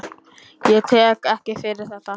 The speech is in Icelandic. Ég tek ekki fyrir þetta.